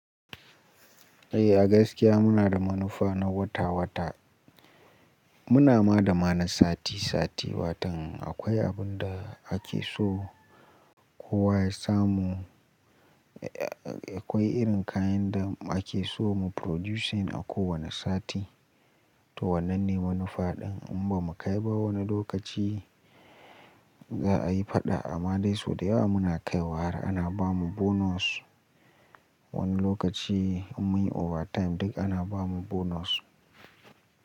Eh a gaskiya muna da manufa na wata wata. Muna ma da ma na sati sati watan akwai abun da ake so kowa ya samu. Akwai irin kayan da ake so mu producing a kowane sati. To wannan ne manufaɗin in ba mu kai ba wani lokaci za a yi faɗa amma dai sau da yawa muna kaiwa har ana bamu bonus. Wani lokaci in muyi overtime duk ana bamu bonus.